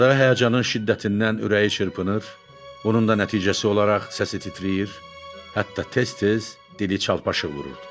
Yaşadığı həyəcanın şiddətindən ürəyi çırpınır, bunun da nəticəsi olaraq səsi titrəyir, hətta tez-tez dili çalpaşıq vururdu.